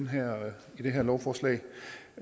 her lovforslag